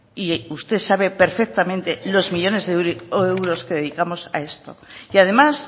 y usted sabe perfectamente los millónes de euros que dedicamos a esto y además